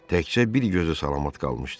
Təkcə bir gözü salamat qalmışdı.